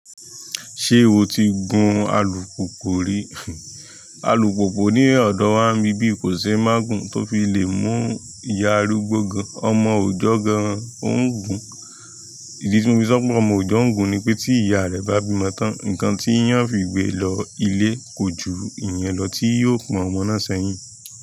Ṣé o ti gun alùpùpù rí? Alùpùpù ní ọ̀dọ̀ wá mi bí i kò sé má gun tó fi lè mú ìyá arúgbó gun, ọmọ ọ̀joo gan ògùn. Ìdí tí wón fi sọ pé ọmọ ọ̀jọ̀o n gun ni pé tí ìyá rẹ bá bímọ tán, ǹkan tí yan fi gbé e lọ ilé kò ju ìyen lọ tí yóò pọ̀n ọmọ náà sẹ́yìn.